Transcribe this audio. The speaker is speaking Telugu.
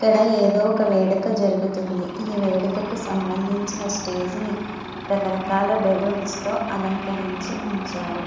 ఇక్కడ ఏదో ఒక వేడుక జరుగుతుంది. ఈ వేడుకకు సంబంధించిన స్టేజి ని రకరకాల బెలూన్స్ తో అలంకరించి ఉంచారు.